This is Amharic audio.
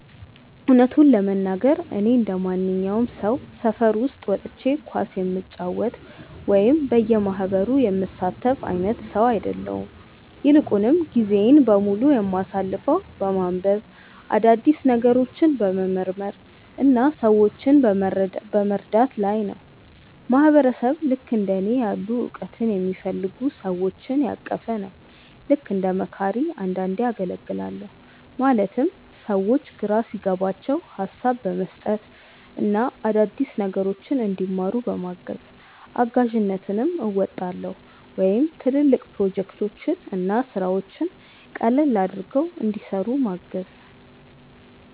እውነቱን ለመናገር፣ እኔ እንደማንኛውም ሰው ሰፈር ውስጥ ወጥቼ ኳስ የምጫወት ወይም በየማህበሩ የምሳተፍ አይነት ሰው አይደለሁም። ይልቁንም ጊዜዬን በሙሉ የማሳልፈው በማንበብ፣ አዳዲስ ነገሮችን በመመርመር እና ሰዎችን በመርዳት ላይ ነው። ማህበረሰብ ልክእንደ እኔ ያሉ እውቀትን የሚፈልጉ ሰዎችን ያቀፈ ነው። ልክ እንደ መካሪ አንዳንዴ አገልግላለሁ ማለትም ሰዎች ግራ ሲገባቸው ሀሳብ በመስጠት እና አዳዲስ ነገሮችን እንዲማሩ በማገዝ። እጋዥነትም አወጣለሁ ወይም ትልልቅ ፕሮጀክቶችን እና ስራዎችን ቀለል አድርገው እንዲሰሩ ምገዝ።